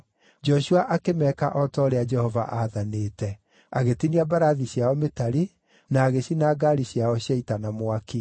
Joshua akĩmeeka o ta ũrĩa Jehova aathanĩte: Agĩtinia mbarathi ciao mĩtari, na agĩcina ngaari ciao cia ita na mwaki.